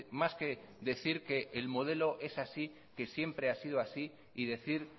más que decir que el modelo es así que siempre ha sido así y decir